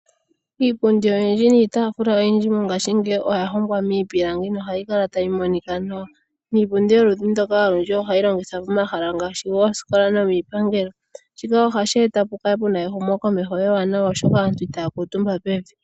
Iipundi oyindji niitafula oyindji mongaashingeyi oya hongwa miipilangi nohayi kala tayi monika nawa niipundi yoludhi ndyoka olundji ohayi longithwa pomahala ngaashi goosikola nomiipangelo shika ohashi eta opo pu kale pu na ehumo komeho ewanawa oshoka aantu itaya kuutumba pevi.